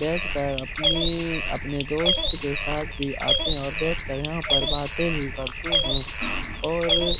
बैठकर अपने अपने दोस्त के साथ भी यहाँ पर आते हैं और बैठ कर बातें भी करते हैं और --